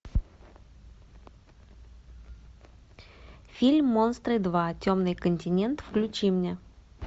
фильм монстры два темный континент включи мне